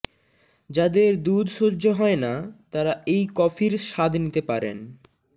যাদের দুধ সহ্য হয় না তারা এই কফির স্বাদ নিতে পারেন